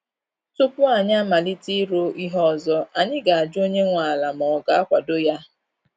Tupu anyi amalite ịrụ ihe ọzọ, anyị ga ajụ onye nwe ala ma ọ ga-akwado ya